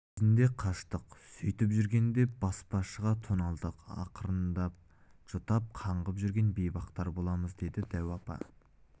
кезінде қаштық сөйтіп жүргенде баспашыға тоналдық ақырында жұтап қаңғып жүрген бейбақтар боламыз деді дәу апа